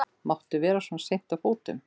Máttu vera svona seint á fótum?